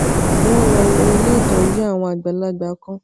wón lọ wo ilé ìtójú àwọn àgbàlagbà kan